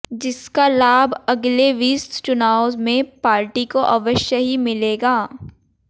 जिसका लाभ अगले विस चुनावों में पार्टी को अवश्य ही मिलेगा